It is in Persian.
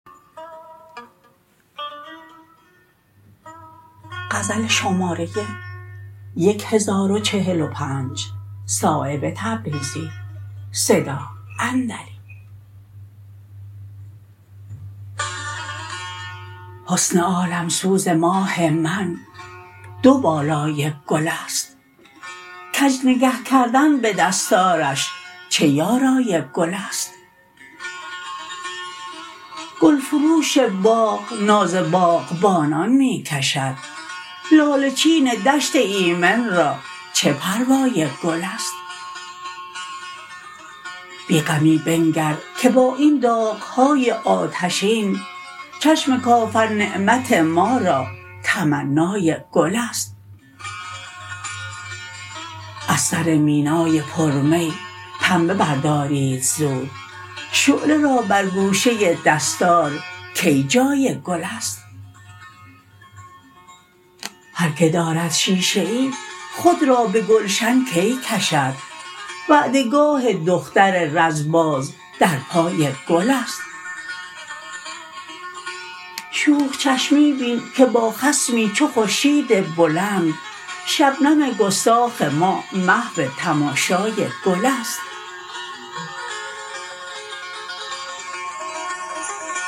حسن عالمسوز ماه من دو بالای گل است کج نگه کردن به دستارش چه یارای گل است گلفروش باغ ناز باغبانان می کشد لاله چین دشت ایمن را چه پروای گل است بیغمی بنگر که با این داغ های آتشین چشم کافر نعمت ما را تمنای گل است از سر مینای پر می پنبه بردارید زود شعله را بر گوشه دستارکی جان گل است هر که دارد شیشه ای خود را به گلشن کی کشد وعده گاه دختر رز باز در پای گل است شوخ چشمی بین که با خصمی چو خورشید بلند شبنم گستاخ ما محو تماشای گل است